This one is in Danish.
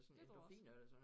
Det tror jeg også